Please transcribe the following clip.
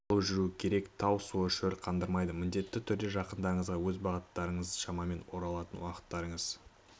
алып жүру керек тау суы шөл қандырмайды міндетті түрде жақындарыңызға өз бағыттарыңыз шамамен оралатын уақыттарыңыз